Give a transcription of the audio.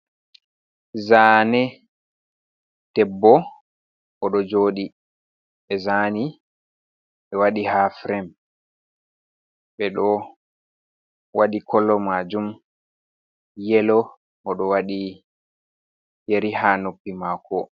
Zaane debbo o ɗo jooɗii, ɓe zaani ɓe waɗi haa firem, ɓe ɗo waɗi kolo maajum yelo, o ɗo waɗi yeri haa noppi maako.